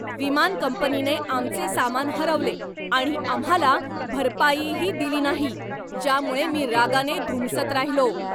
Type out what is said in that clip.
विमान कंपनीने आमचे सामान हरवले आणि आम्हाला भरपाईही दिली नाही, ज्यामुळे मी रागाने धुमसत राहिलो.